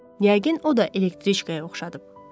Yəqin o da elektriçkaya oxşadıb.